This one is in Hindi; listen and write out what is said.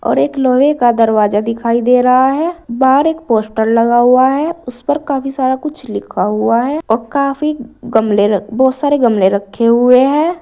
और एक लोहे का दरवाजा दिखाई दे रहा है बाहर एक पोस्टर लगा हुआ है उस पर काफी सारा कुछ लिखा हुआ है और काफी गमले बहोत सारे गमले रखे हुए हैं।